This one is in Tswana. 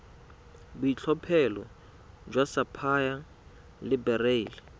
boitlhophelo jwa sapphire le beryl